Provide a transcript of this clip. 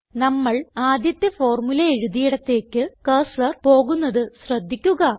നമ്മൾ ആദ്യത്തെ ഫോർമുല എഴുതിയിടത്തേക്ക് കർസർ പോകുന്നത് ശ്രദ്ധിക്കുക